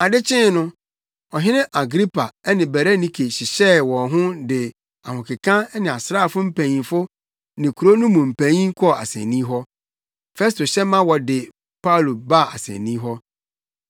Ade kyee no Ɔhene Agripa ne Berenike hyehyɛɛ wɔn ho de ahokeka ne asraafo mpanyimfo ne kurow no mu mpanyin kɔɔ asennii hɔ. Festo hyɛ ma wɔde Paulo baa asennii hɔ.